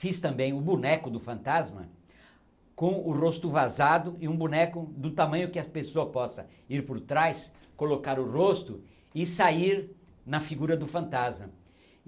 Fiz também o boneco do fantasma com o rosto vazado e um boneco do tamanho que a pessoa possa ir por trás, colocar o rosto e sair na figura do fantasma.